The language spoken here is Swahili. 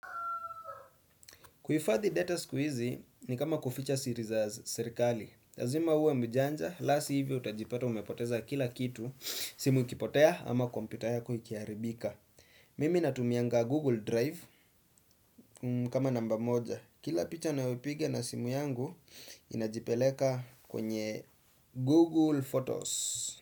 Kuhifadhi data siku hizi ni kama kuficha siri za serikali. Lazima uwe mjanja, la si hivyo utajipata umepoteza kila kitu, simu ikipotea ama kompyuta ya ikiharibika. Mimi natumianga Google Drive kama namba moja. Kila picha na upige na simu yangu inajipeleka kwenye Google Photos.